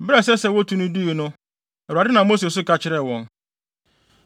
Bere a ɛsɛ sɛ wotu no duu no, Awurade nam Mose so ka kyerɛɛ wɔn.